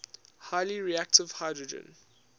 highly reactive hydrogen